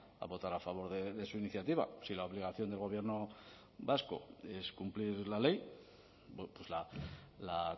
a votar a favor de su iniciativa si la obligación del gobierno vasco es cumplir la ley la